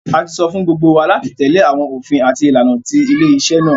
A tí sọ fún gbógbó wá láti tèlé àwọn òfin àti ìlànà tí ilé-isé náa